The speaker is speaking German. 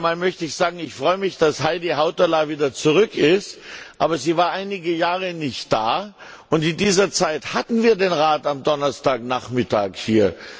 Zunächst einmal möchte ich sagen Ich freue mich, dass Heidi Hautala wieder zurück ist. Aber sie war einige Jahre nicht da, und in dieser Zeit hatten wir den Rat am Donnerstagnachmittag hier.